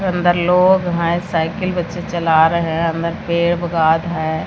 अंदर लोग हैं साइकिल बच्चे चला रहे हैं अंदर पेड़ हैं।